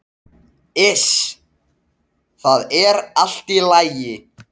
Iss, það er allt í lagi.